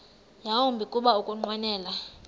yawumbi kuba ukunqwenela